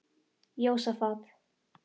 Jósafat